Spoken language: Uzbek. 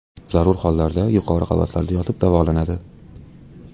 Zarur hollarda yuqori qavatlarda yotib davolanadi.